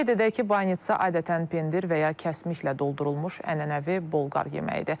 Qeyd edək ki, banitsa adətən pendir və ya kəsmiklə doldurulmuş ənənəvi Bolqar yeməyidir.